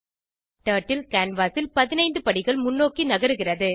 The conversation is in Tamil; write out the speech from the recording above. டர்ட்டில் கேன்வாஸ் ல் 15 படிகள் முன்னோக்கி நகருகிறது